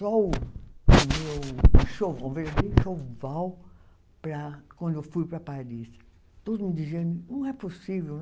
Só o o meu, para quando eu fui para Paris, todo mundo dizia, não é possível, né?